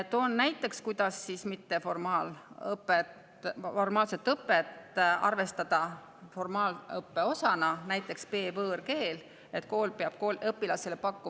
Toon näitena selle kohta, kuidas mitteformaalset õpet arvestada formaalõppe osana, B‑võõrkeele.